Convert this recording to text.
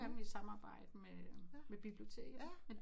Nogle af dem i samarbejde med biblioteket